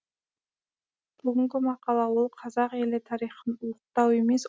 бүгінгі мақала ол қазақ елі тарихын ұлықтау емес